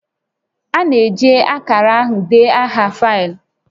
A na-eji akara ahụ dee aha faịlụ